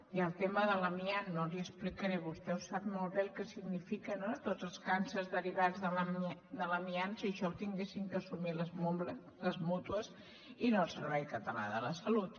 i el tema de l’amiant no l’hi explicaré vostè ho sap molt bé el que significa no de tots els càncers derivats de l’amiant si això ho haguessin d’assumir les mútues i no el servei català de la salut